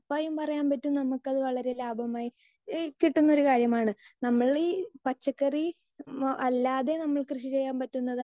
speaker 2 ഉറപ്പായും പറയാൻ പറ്റും നമുക്ക് അത് വളരേ ലാഭമായി ഇഹ് കിട്ടുന്ന ഒരു കാര്യമാണ് നമ്മൾ ഈ പച്ചക്കറി അല്ലാതെ നമ്മൾ ക്രീഷി ചെയ്യാൻ പറ്റുന്നതാണ്